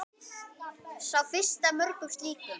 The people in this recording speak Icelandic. Sá fyrsti af mörgum slíkum.